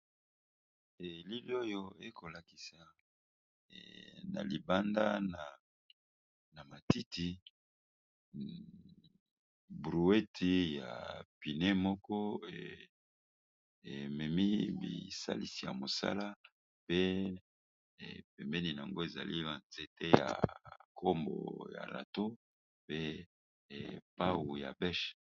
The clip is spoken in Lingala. Elili oyo ekolakisa na libanda na matiti brouette ya pneus moko ememi bisalisi ya mosala pe pembeni yango ezali ba nzete ya kombo ya râteaux pe pawu ya bêche.